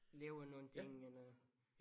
Lave nogle ting end at